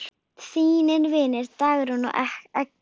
Þínir vinir, Dagrún og Eggert.